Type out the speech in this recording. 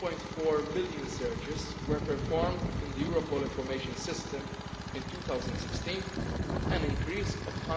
1.4 million searches were performed in the Europol information system in 2016, an increase of